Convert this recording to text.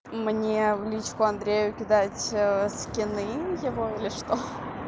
мне в личку андрею кидать скины его или что